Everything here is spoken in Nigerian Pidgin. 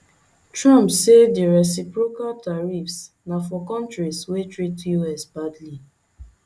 trump say di reciprocal tariffs na for kontris wey treat us badly